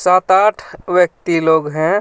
सात आठ व्यक्ति लोग हैं.